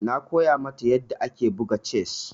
Na koya mata yadda ake buga chess.